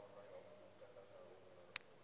buks